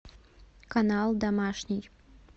канал домашний